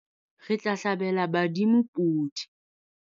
Re tla hlabela badimo podi.